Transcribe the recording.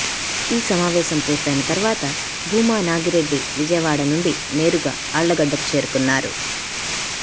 ఈ సమావేశం పూర్తైన తర్వాత భూమా నాగిరెడ్డి విజయవాడ నుండి నేరుగా ఆళ్ళగడ్డకు చేరుకొన్నారు